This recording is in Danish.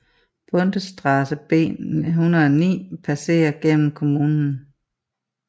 Bundesstraße B 109 passerer gennem kommunen